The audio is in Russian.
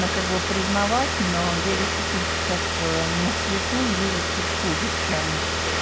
ну как бы признавать но я действительно сейчас на свету вижу чуть хуже чем